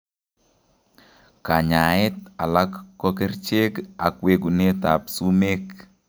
Kanyaeet alak ko kercheek ak wekunet ab sumeek